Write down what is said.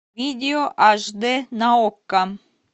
видео аш дэ на окко